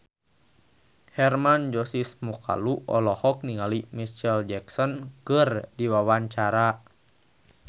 Hermann Josis Mokalu olohok ningali Micheal Jackson keur diwawancara